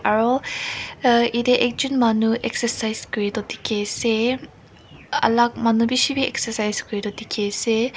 aro eeh yete ekjun manu excercise kuri toh dekhi ase aaah alak manu bi beshi manu beshi exercise dekhi ase.